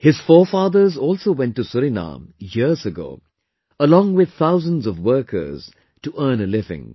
His forefathers also went to Suriname years ago, along with thousands of workers, to earn a living